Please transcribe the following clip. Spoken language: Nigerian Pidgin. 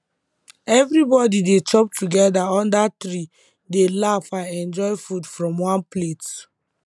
everybody dey chop together under tree dey laugh and enjoy food from one plate